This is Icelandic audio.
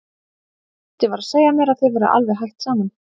Gutti var að segja mér að þið væruð alveg hætt saman.